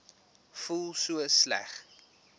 voel so sleg